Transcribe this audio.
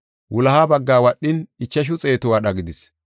Wuloha baggaa wadhin, ichashu xeetu wadha gidis.